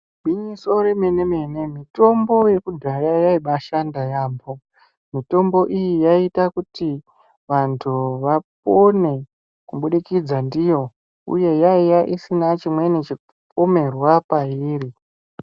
Gwinyiso remene-mene mitombo yekudhaya yaibashanda yaamho. Mitombo iyi yaiita kuti vantu vapone kubudikidza ndiyo uye yaiya isina chimweni chipomerwa pairi.